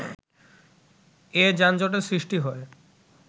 এ যানজটের সৃষ্টি হয়